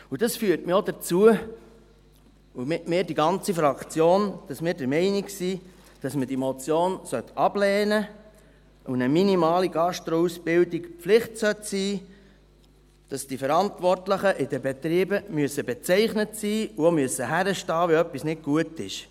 » Dies führt mich auch dazu – und mit mir die ganze Fraktion –, dass wir der Meinung sind, dass man diese Motion ablehnen und eine minimale Gastroausbildung Pflicht sein sollte, dass die Verantwortlichen in den Betrieben bezeichnet sein und auch hinstehen müssen, wenn etwas nicht gut ist.